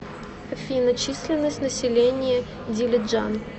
афина численность населения дилиджан